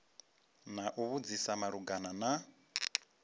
na u vhudzisa malugana na